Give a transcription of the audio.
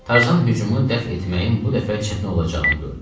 Tarzan hücumu dəf etməyin bu dəfə çətin olacağını gördü.